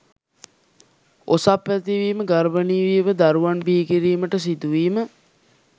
ඔසප් ඇතිවීම, ගර්භණී වීම, දරුවන් බිහිකිරීමට සිදුවීම